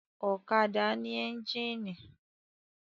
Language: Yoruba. Ọ̀kadà ní ẹ́ńjínì.